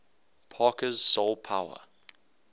parker's soul power